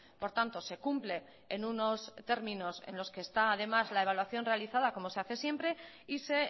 por tanto se cumple en unos términos en los que está además la evaluación realizada como se hace siempre y se